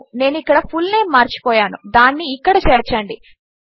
నేను ఇక్కడ ఫుల్నేమ్ మరచిపోయాను దానిని ఇక్కడ చేర్చండి